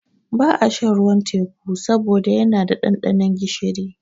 Ba a shan ruwan teƙu saboda yana da ɗanɗanon gishiri